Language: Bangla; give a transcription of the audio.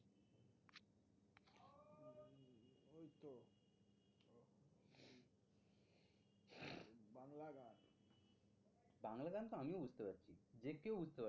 বাংলা গান তো আমিও বুঝতে পারছি। যে কেউ বুঝতে পারবে।